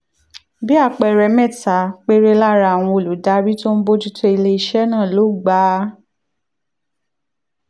bí àpẹẹrẹ mẹ́ta péré lára àwọn olùdarí tó ń bójú tó ilé iṣẹ́ náà ló gba